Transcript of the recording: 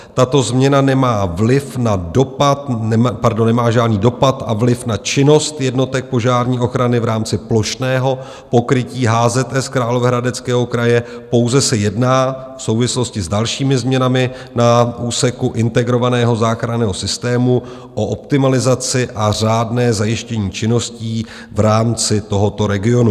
Tato změna nemá žádný dopad a vliv na činnost jednotek požární ochrany v rámci plošného pokrytí HZS Královéhradeckého kraje, pouze se jedná v souvislosti s dalšími změnami na úseku integrovaného záchranného systému o optimalizaci a řádné zajištění činností v rámci tohoto regionu.